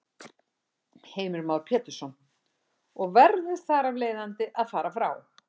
Heimir Már Pétursson: Og verður þar af leiðandi að fara frá?